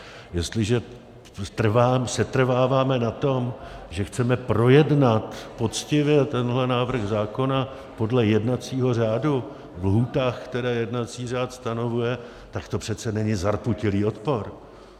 Jestliže setrváváme na tom, že chceme projednat poctivě tenhle návrh zákona podle jednacího řádu ve lhůtách, které jednací řád stanovuje, tak to přece není zarputilý odpor.